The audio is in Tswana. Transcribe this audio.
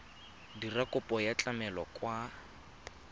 dira kopo ya tlamelo kwa